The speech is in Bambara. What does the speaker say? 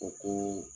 O ko